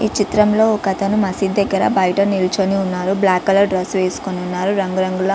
ఈ చిత్రంలో ఒక అతను మస్జీద్ దగ్గర బయట నించొనియున్నాడు. బ్లాక్ కలర్ డ్రెస్ వేసికొని ఉన్నారు. రంగురంగుల --